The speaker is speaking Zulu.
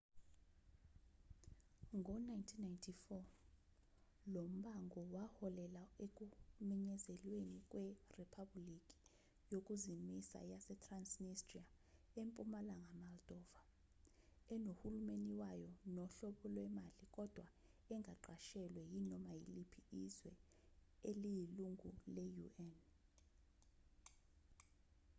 ngo-1994 lombango waholela ekumenyezelweni kweriphabhuliki yokuzimisa yasetransnistria empumalanga moldova enohulumeni wayo nohlobo lwemali kodwa engaqashelwa yinoma yiliphi izwe eliyilungu le-un